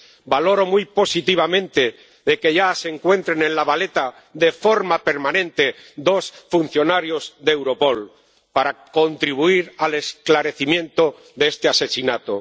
Valoro muy positivamente que ya se encuentren en La Valeta, de forma permanente, dos funcionarios de Europol para contribuir al esclarecimiento de este asesinato.